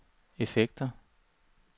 effekter